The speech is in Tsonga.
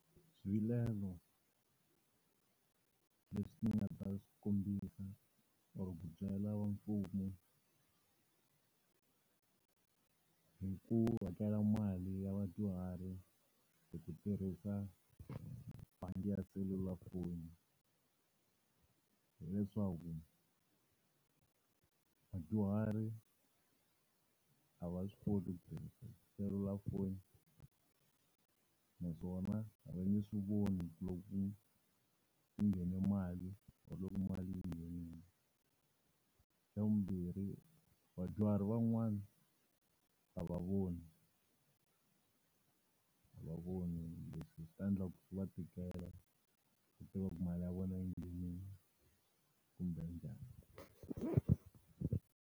Swivilelo leswi nga ta kombisa or ku byela va mfumo hi ku hakela mali ya vadyuhari hi ku tirhisa bangi ya cellular phone, hileswaku vadyuhari a va swi koti ku tirhisa selulafoni, naswona a va nge swi voni loko ku nghene mali or loko mali yi nghenile. Xa vumbirhi vadyuhari van'wana a va voni, a va voni leswi swi ta endla swi va tikela ku tiva ku mali ya vona yi nghenile kumbe njhani.